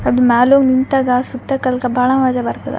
ಅದ್ ಮ್ಯಾಲ್ ಹೋಗ್ ನಿಂತಾಗ ಸುತ್ತಕಾ ಬಾಳ ಮಜ ಬರ್ತದ.